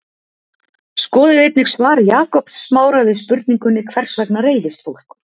skoðið einnig svar jakobs smára við spurningunni hvers vegna reiðist fólk